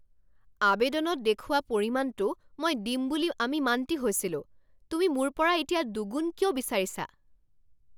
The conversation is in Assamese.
আৱেদনত দেখুওৱা পৰিমাণটো মই দিম বুলি আমি মান্তি হৈছিলোঁ। তুমি মোৰ পৰা এতিয়া দুগুণ কিয় বিচাৰিছা?